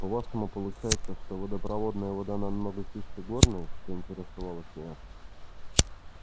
по-вашему получается что водопроводная вода намного чище горной поинтересовалась я